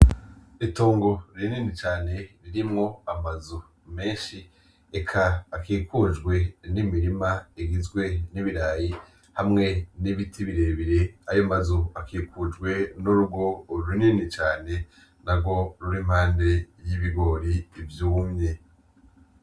Itongo rinini cane ririmwo amazu menshi eka akikujwe n'imirima igizwe n'ibirayi hamwe n'ibiti birebire, ayo mazu akikujwe n'urugo runini cane narwo rurimpande y'ibigori vyumye.